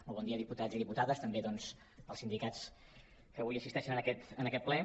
molt bon dia diputats i diputades també doncs als sindicats que avui assisteixen en aquest ple